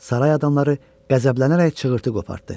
Saray adamları qəzəblənərək çığırıltı qopartdı.